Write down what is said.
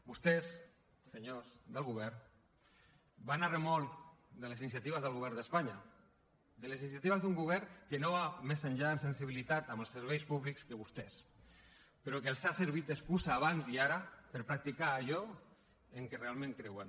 vostès senyors del govern van a remolc de les iniciatives del govern d’espanya de les iniciatives d’un govern que no va més enllà en sensibilitat amb els serveis públics que vostès però que els ha servit d’excusa abans i ara per practicar allò en què realment creuen